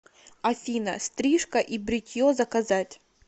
афина стрижка и бритье заказать